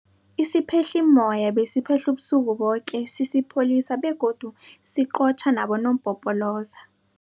Isiphehlimmoya besiphehla ubusuku boke sisipholisa begodu siqotjha nabonompopoloza.